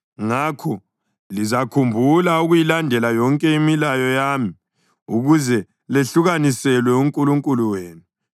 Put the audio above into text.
Ngakho lizakhumbula ukuyilandela yonke imilayo yami ukuze lehlukaniselwe uNkulunkulu wenu.